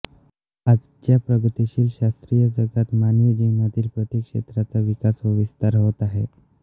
आजच्या प्रगतीशील शास्त्रीय जगात मानवी जीवनातील प्रत्येक क्षेत्राचा विकास व विस्तार होत आहे